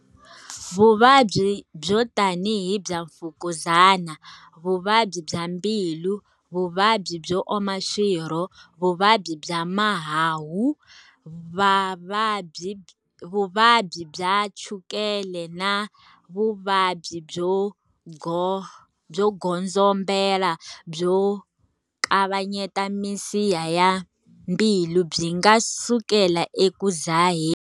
Vuvabyi byo tanihi bya mfukuzana, vuvabyi bya mbilu, vuvabyi byo oma swirho, vuvabyi bya mahahu, vuvabyi bya chukela na vuvabyi byo godzombela byo kavanyeta misiha ya mbilu byi nga sukela eku dzaheni.